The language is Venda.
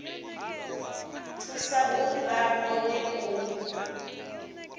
thusa uri vha kone u